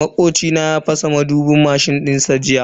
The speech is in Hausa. Makoci na ya fasa madubin mashin dinshi.